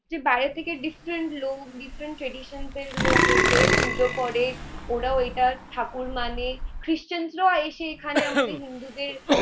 বাইরে থেকে different লোক different traditions এর লোক এসে পুজো করে। ওরাও এইটা ঠাকুর মানে, ক্রিস্টানরাও এসে এখানে আমাদের হিন্দুদের